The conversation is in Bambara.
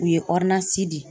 U ye di.